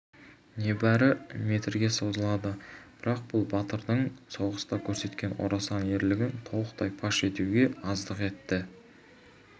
небәрі метрге созылады бірақ бұл батырдың соғыста көрсеткен орасан ерлігін толықтай паш етуге аздық етті